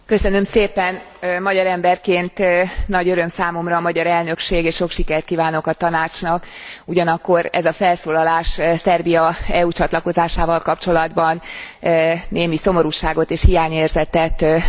Magyar emberként nagy öröm számomra a magyar elnökség és sok sikert kívánok a Tanácsnak, ugyanakkor ez a felszólalás Szerbia EU csatlakozásával kapcsolatban némi szomorúságot és hiányérzetet okozott nekem.